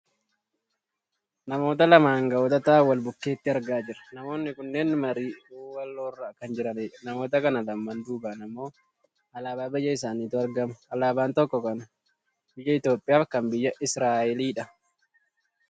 Namoota lama anga'oota ta'an wal bukkeetti argaa jirra. Namoonni kunneen marii waloorra kan jiranidha. Namoota kana lamaan duubaan ammoo alaabaa biyya isaaniitu argama. Alaabaan tokko kana biyya Itoopiyaa fi kan biyya Isiraaelidha.